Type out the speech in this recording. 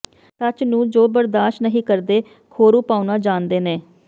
ਸੱਚ ਨੂੰ ਜੋ ਬਰਦਾਸ਼ਤ ਨੀ ਕਰਦੇ ਖੌਰੂ ਪਾਉਣਾ ਜਾਣਦੇ ਨੇ